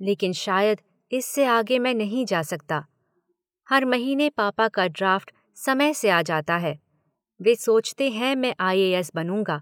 लेकिन शायद इससे आगे मैं नहीं जा सकता। हर महीने पापा का ड्राफ्ट समय से आ जाता है। वे सोचते हैं मैं आईएएस बनूंगा